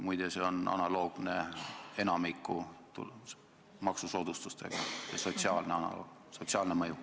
Muide, see mõju on analoogne enamiku maksusoodustuste sotsiaalse mõjuga.